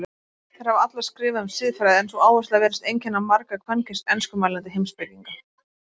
Þær hafa allar skrifað um siðfræði en sú áhersla virðist einkenna marga kvenkyns enskumælandi heimspekinga.